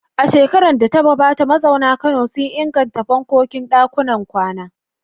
A shekarar da ta gabata, mazauna Kano sun inganta fankokin ɗakunan kwana.